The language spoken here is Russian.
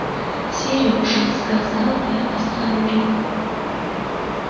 серёж сказал я осторожно